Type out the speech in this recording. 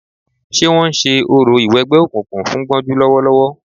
Ṣé wọ́n ń ṣe orò ìwẹgbẹ́ òkùnkùn fún Gbọ́njú lọ́wọ́lọ́wọ́